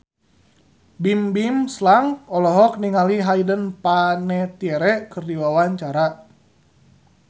Bimbim Slank olohok ningali Hayden Panettiere keur diwawancara